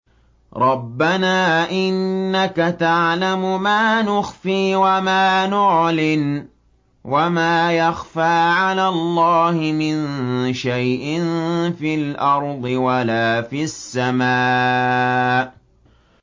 رَبَّنَا إِنَّكَ تَعْلَمُ مَا نُخْفِي وَمَا نُعْلِنُ ۗ وَمَا يَخْفَىٰ عَلَى اللَّهِ مِن شَيْءٍ فِي الْأَرْضِ وَلَا فِي السَّمَاءِ